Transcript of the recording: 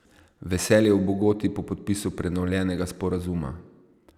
Veselje v Bogoti po podpisu prenovljenega sporazuma.